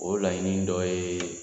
O laɲini dɔ ye